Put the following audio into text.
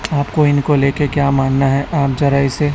आपको इनको लेके क्या मानना है आप जरा इसे--